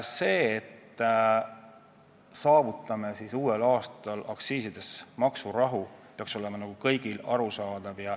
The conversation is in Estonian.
See, et me saavutame uuel aastal aktsiiside koha pealt maksurahu, peaks olema kõigile arusaadav.